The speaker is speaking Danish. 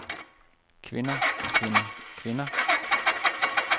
kvinder kvinder kvinder